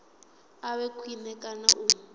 a vhe khwine kana u